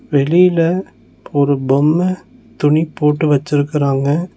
வெளில ஒரு பொம்ம துணி போட்டு வச்சுருக்கறாங்க.